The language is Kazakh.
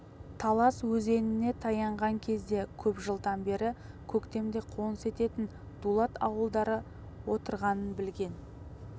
талас өзеніне таянған кезде көп жылдан бері көктемде қоныс ететін дулат ауылдары отырғанын білген